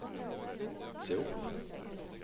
se opp